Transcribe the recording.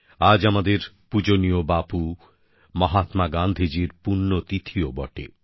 আজ আমাদের পূজনীয় বাপু মহাত্মা গান্ধীজীর পুণ্যতিথিও বটে